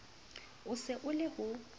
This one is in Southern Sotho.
o se a le ho